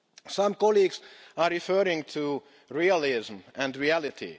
Some colleagues are referring to realism and reality.